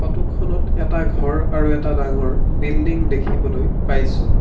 Photo খনত এটা ঘৰ আৰু এটা ডাঙৰ বিল্ডিং দেখিবলৈ পাইছোঁ।